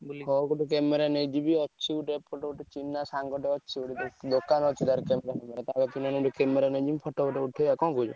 ମୁଁ କହିଲି ହଉ ମୁଁ camera ନେଇଯିବି ଅଛି ଗୋଟେ ଅଛି ଏପଟେ ଚିହ୍ନା ସାଙ୍ଗ ଅଛି ଅଛି ଗୋଟେ ତାର ଦୋକାନ photo ମଟ ଉଠେଇଆ ନା କଣ କହୁଚୁ?